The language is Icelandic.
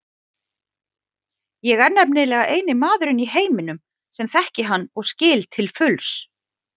Ég er nefnilega eini maðurinn í heiminum sem þekki hann og skil til fulls.